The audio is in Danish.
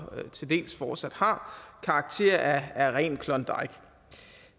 til dels fortsat har karakter af rent klondike